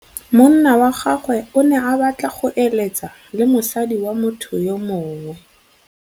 Monna wa gagwe o ne a batla go êlêtsa le mosadi wa motho yo mongwe.